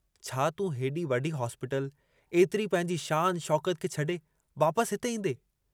छा तूं हेॾी वॾी हॉस्पीटल, एतिरी पंहिंजी शान शौक़त खे छॾे वापसि हिते ईंदे?